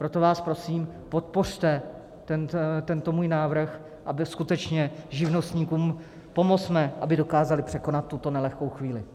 Proto vás prosím, podpořte tento můj návrh, aby... skutečně živnostníkům pomozme, aby dokázali překonat tuto nelehkou chvíli.